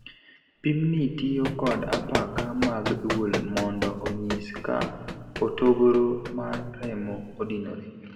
Pimni tiyo kod apaka mag duol mondo onyis ka hotogoro mar remo odinore.